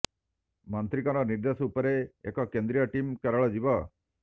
ମନ୍ତ୍ରୀଙ୍କର ନିର୍ଦ୍ଦେଶ ଉପରେ ଏକ କେନ୍ଦ୍ରୀୟ ଟିମ କେରଳ ଯିବ